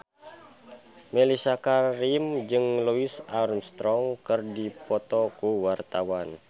Mellisa Karim jeung Louis Armstrong keur dipoto ku wartawan